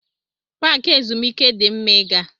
Paaki ezumike di mma ị gaa.